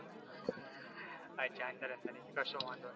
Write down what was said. અચ્છા સરસ કશો વાંધો નહિ